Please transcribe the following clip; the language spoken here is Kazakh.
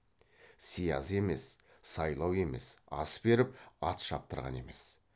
сияз емес сайлау емес ас беріп ат шаптырған емес